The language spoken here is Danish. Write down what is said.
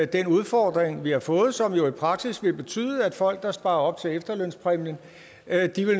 den udfordring vi har fået og som jo i praksis vil betyde at folk der sparer op til efterlønspræmien